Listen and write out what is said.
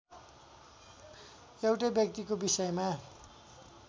एउटै व्यक्तिको विषयमा